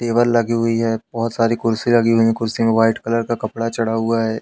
Table लगी हुई है बहोत सारी कुर्सी लगी हुई हैं कुर्सी में व्हाइट कलर का कपड़ा चढ़ा हुआ है।